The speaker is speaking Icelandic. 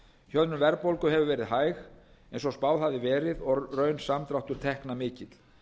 hjöðnun verðbólgu hefur verið hæg eins og spáð hafði verið og raunsamdráttur tekna mikill